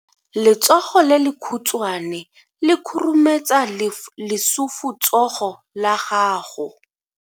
Letsogo le lekhutshwane le khurumetsa lesufutsogo la gago.